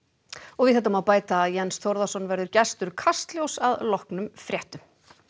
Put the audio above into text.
og við þetta má bæta að Jens Þórðarson verður gestur Kastljóss að loknum fréttum